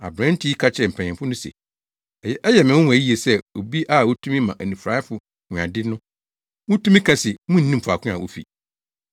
Aberante yi ka kyerɛɛ mpanyimfo no se, “Ɛyɛ me nwonwa yiye sɛ obi a otumi ma onifuraefo hu ade no mutumi ka se munnim faako a ofi.